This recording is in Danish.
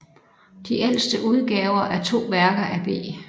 De ældste udgaver er to værker af B